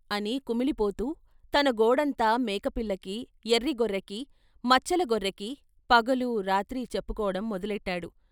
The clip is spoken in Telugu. అని కుమిలిపోతూ తన గోడంతా మేకపిల్లకి ఎర్రి గొర్రెకి, మచ్చల గొర్రెకి, పగలూ రాత్రి చెప్పుకోడం మొదలెట్టాడు.